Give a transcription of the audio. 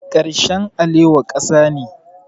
Karshen alewa ƙasa ne.